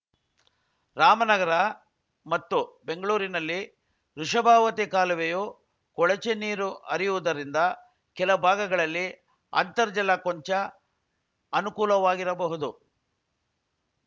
ರಾಮನಗರ ಮತ್ತು ಬೆಂಗ್ಳುರಿನಲ್ಲಿ ವೃಷಭಾವತಿ ಕಾಲುವೆಯು ಕೊಳಚೆ ನೀರು ಹರಿಯುವುದರಿಂದ ಕೆಲ ಭಾಗಗಳಲ್ಲಿ ಅಂತರ್ಜಲ ಕೊಂಚ ಅನುಕೂಲವಾಗಿರಬಹುದು